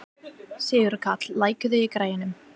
Sigurkarl, lækkaðu í græjunum.